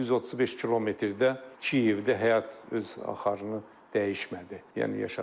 135 kilometrdə Kiyevdə həyat öz axarını dəyişmədi, yəni yaşadılar.